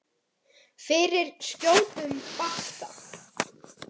Fyrir skjótum bata.